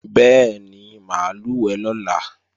Bẹ́ẹ̀ni, mà á lùwẹ̀ lọ́la